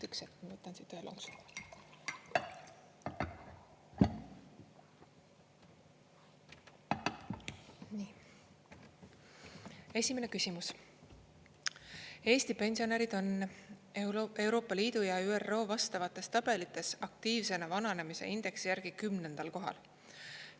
Esimene küsimus: "Eesti pensionärid on EL ja ÜRO vastavates tabelites aktiivsena vananemise indeksi järgi 10. kohal.